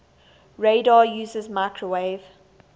radar uses microwave